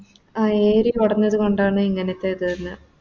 ആ AREA കൊടഞ്ഞത് കൊണ്ടാണ് ഇങ്ങനത്തെത് വെര്ന്നേ